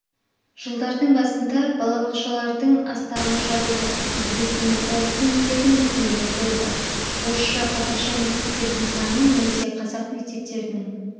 жылдардың басында балабақшалардың астамы жабылды негізінен орыс тіліндегі мекемелер болды орысша-қазақша мектептердің саны немесе қазақ мектептерінің